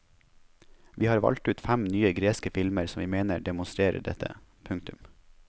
Vi har valgt ut fem nye greske filmer som vi mener demonstrerer dette. punktum